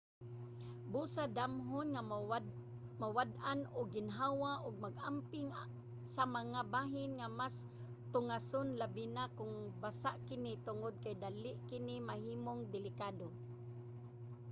busa damhon nga mawad-an og ginhawa ug mag-amping sa mga bahin nga mas tungason labi na kung basa kini tungod kay dali kini mahimong delikado